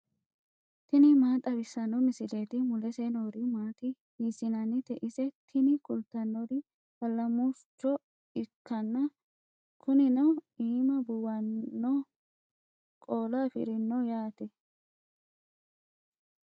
tini maa xawissanno misileeti ? mulese noori maati ? hiissinannite ise ? tini kultannori allamurcho ikkanna kunino iima buuwannoho qoola afirinoho yaate.